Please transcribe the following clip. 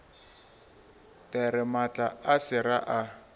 there maatla a sera a